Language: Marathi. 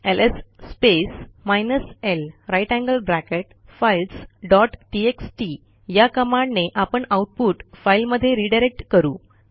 LS space minus l grater than sign files dot TXT या कमांडने आपण आऊटपुट फाईलमध्ये रीडायरेक्ट करू